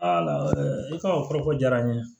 i ka o kɔrɔfɔ ko diyara n ye